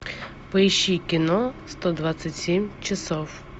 поищи кино сто двадцать семь часов